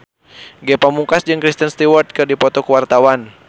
Ge Pamungkas jeung Kristen Stewart keur dipoto ku wartawan